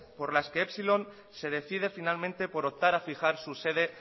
por la que epsilon se decide finalmente por optar a fijar su sede